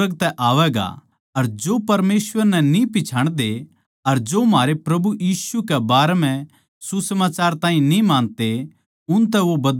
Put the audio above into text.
अर जो परमेसवर नै न्ही पिच्छाणदे अर जो म्हारे प्रभु यीशु कै बारें म्ह सुसमाचार ताहीं न्ही मानते उनतै वो बदला लेवैगा